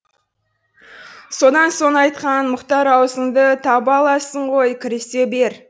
содан соң айтқан мұхтар аузыңды таба аласың ғой кірісе бер